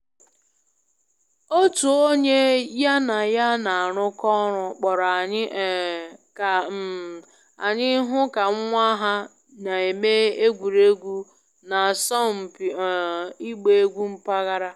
Otu onye ya na ya na-arụkọ ọrụ kpọrọ anyị um ka um anyị hụ ka nwa ha na-eme egwuregwu n’asọmpi um ịgba egwú mpaghara